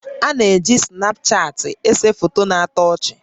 A na-eji Snapchaatị èsè foto na-atọ ọchị